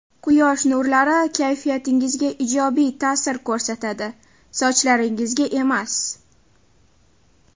Quyosh nurlari kayfiyatingizga ijobiy ta’sir ko‘rsatadi, sochlaringizga emas.